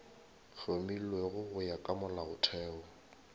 hlomilwego go ya ka molaotheo